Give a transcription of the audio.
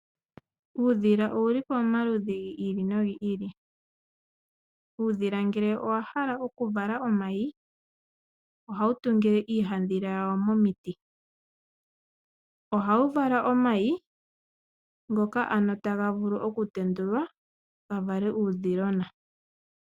Uudhila owuli pamaludhi giili no gi ili noha wutungile iihandhila komiti opo wuvalelemo omayi, omayi ohaga tendulwa etamuzi uudhilona.